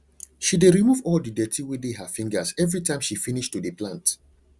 she dey remove all the dirty wey dey her fingers everytime she finish to dey plant